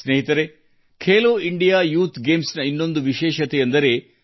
ಸ್ನೇಹಿತರೇ Khelo India youth ಗೇಮ್ಸ್ನಲ್ಲಿ ಮತ್ತೊಂದು ವಿಶೇಷತೆ ಇದೆ